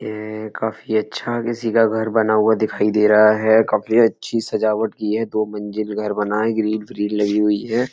ये काफी अच्छा किसी का घर बना हुआ दिखाई दे रहा है। काफी अच्छी सजावट की है। दो मंजिल घर बना है। ग्रिल फीरिल लगी हुई है।